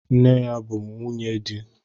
Nne ya bụ nwunye di.